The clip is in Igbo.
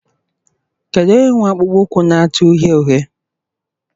Kedu onye nwe akpụkpọ ụkwụ na-acha uhie uhie?